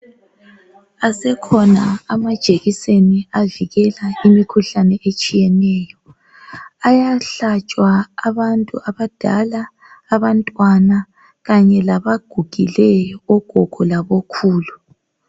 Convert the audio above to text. Asekhona amajekiseni avikela imikhuhlane etshiyeneyo. Ayahlatshwa abantu abadala, abantwana kanye labagugileyo ogogo labokhulu.